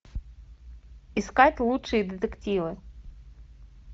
искать лучшие детективы